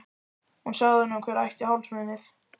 Hún sagði honum hver ætti hálsmenið.